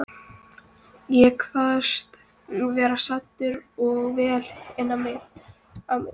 Ég kvaðst vera saddur og vel á mig kominn.